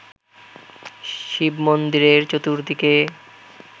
শিব-মন্দিরের চতুর্দিকে